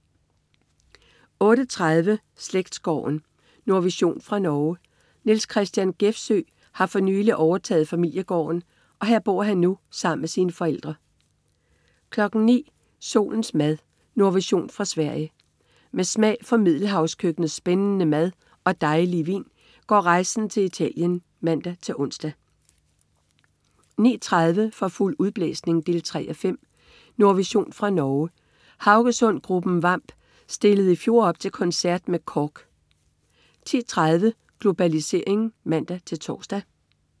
08.30 Slægtsgården. Nordvision fra Norge. Nils Christian Gjefsjø har for nylig overtaget familiegården, og her bor han nu sammen med sine forældre 09.00 Solens mad. Nordvision fra Sverige. Med smag for middelhavskøkkenets spændende mad og dejlige vin går rejsen til Italien (man-ons) 09.30 For fuld udblæsning 3:5. Nordvision fra Norge. Haugesundsgruppen Vamp stillede i fjor op til koncert med KORK 10.30 Globalisering (man-tors)